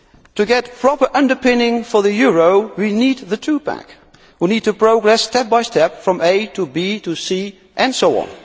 B. To get proper underpinning for the euro, we need the two pack. We need to progress step by step from A to B to C and so